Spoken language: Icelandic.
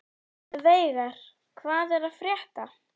Veigar, hvað er að frétta?